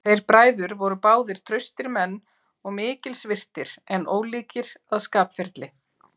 Þeir bræður voru báðir traustir menn og mikils virtir, en ólíkir að skapferli.